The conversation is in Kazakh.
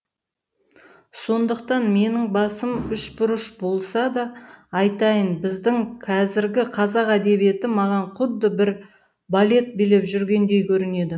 сондықтан менің басым үшбұрыш болса да айтайын біздің қазіргі қазақ әдебиеті маған құдды бір балет билеп жүргендей көрінеді